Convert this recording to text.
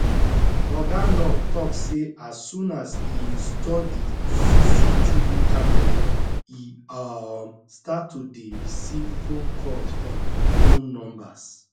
oga nuur tok say as soon as e install di cctv camera e um start to dey receive phone calls from unknown numbers